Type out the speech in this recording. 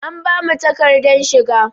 An bamu takadar shiga.